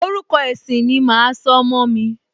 Orúkọ ẹ̀sìn ni màá sọ ọmọ mi